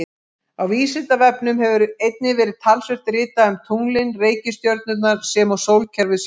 Á Vísindavefnum hefur einnig verið talsvert ritað um tunglin, reikistjörnurnar sem og sólkerfið sjálft.